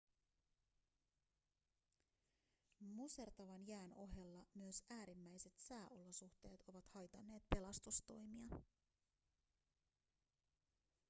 musertavan jään ohella myös äärimmäiset sääolosuhteet ovat haitanneet pelastustoimia